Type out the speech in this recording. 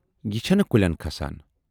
یہِ چھے نہٕ کُلٮ۪ن کھسان۔